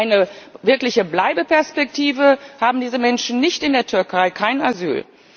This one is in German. Eine wirkliche Bleibeperspektive haben diese Menschen nicht in der Türkei, kein Asyl.